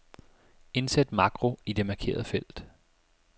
Indsæt makro i det markerede felt.